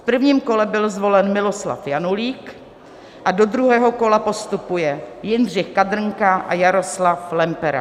V prvním kole byl zvolen Miloslav Janulík a do druhého kola postupuje Jindřich Kadrnka a Jaroslav Lempera.